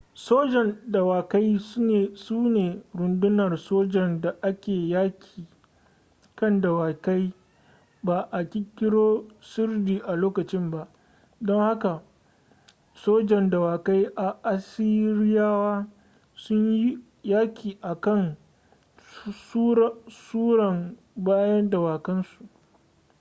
sojan dawakai su ne rundunar sojan da ke yaƙi kan dawakai ba a ƙirƙiro sirdi a lokacin ba don haka sojan dawakai na assiriyawa sun yi yaƙi a kan tsuran bayan dawakan su